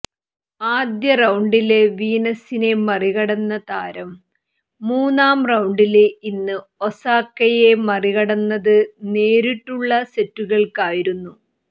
ആദ്യ റൌണ്ടില് വീനസിനെ മറികടന്ന താരം മൂന്നാം റൌണ്ടില് ഇന്ന് ഒസാക്കയെ മറികടന്നത് നേരിട്ടുള്ള സെറ്റുകള്ക്ക് ആയിരുന്നു